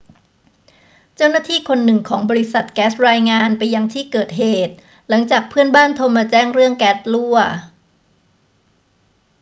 เจ้าหน้าที่คนหนึ่งของบริษัทแก๊สรายงานไปยังที่เกิดเหตุ หลังจากเพื่อนบ้านโทรมาแจ้งเรื่องแก๊สรั่ว